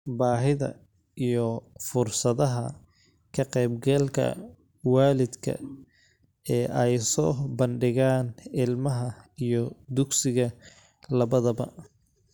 Baahida iyo fursadaha ka-qaybgalka waalidka ee ay soo bandhigaan ilmaha iyo dugsiga labadaba.